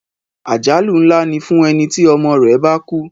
Àjálù ńlá ni fún ẹni tí ọmọ rẹ̀ bá kú.